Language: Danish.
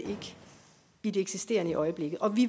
i det eksisterende i øjeblikket og vi